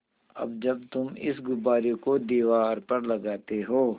अब जब तुम इस गुब्बारे को दीवार पर लगाते हो